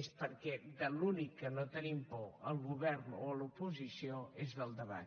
és perquè de l’únic que no tenim por al govern o a l’oposició és del debat